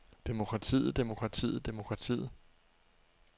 demokratiet demokratiet demokratiet